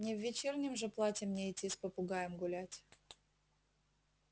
не в вечернем же платье мне идти с попугаем гулять